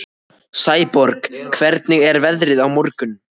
Sæborg, hvernig er veðrið á morgun?